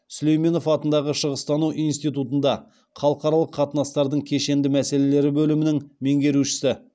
сүлейменов атындағы шығыстану институтында халықаралық қатынастардың кешендік мәселелері бөлімінің меңгерушісі